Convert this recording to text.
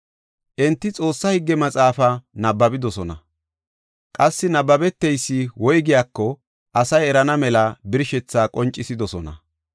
Enti Xoossaa Higge Maxaafa nabbabidosona; qassi nabbabeteysi woygiyako asay erana mela birshethaa qoncisidosona.